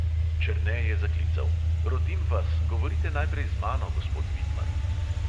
Černe je zaklical: "rotim vas, govorite najprej z mano, gospod vidmar."